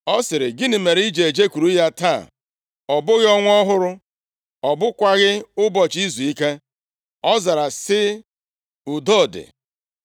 Ọ sịrị, “Gịnị mere i ji ejekwuru ya taa? Ọ bụghị Ọnwa ọhụrụ, ọ bụghịkwa ụbọchị izuike.” Ọ zara sị, “Udo dị.”